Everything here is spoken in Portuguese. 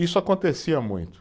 Isso acontecia muito.